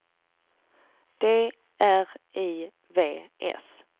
D R I V S